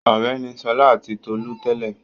Ọ̀rẹ́ ni Ṣọlá àti Tolú tẹ́lẹ̀.